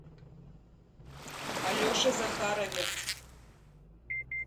алеше захарове